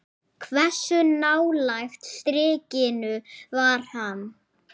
Hversu nálægt strikinu var hann?